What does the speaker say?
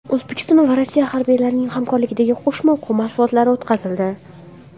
O‘zbekiston va Rossiya harbiylarining hamkorlikdagi qo‘shma o‘quv mashg‘ulotlari o‘tkazildi .